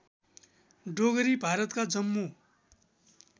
डोगरी भारतका जम्मू